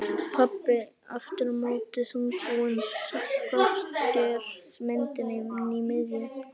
Pabbi aftur á móti þungbúinn skásker myndina inn að miðju.